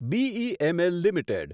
BEML limited